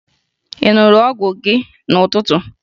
Ị ṅụrụ ọgwụ gị n'ụtụtụ?